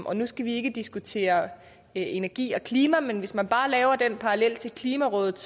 og nu skal vi ikke diskutere energi og klima men hvis man bare laver den parallel til klimarådet